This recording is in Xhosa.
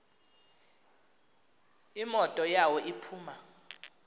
imoto yawo iphuma